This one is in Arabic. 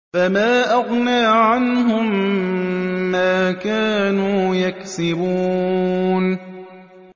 فَمَا أَغْنَىٰ عَنْهُم مَّا كَانُوا يَكْسِبُونَ